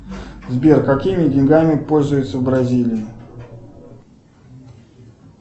сбер какими деньгами пользуются в бразилии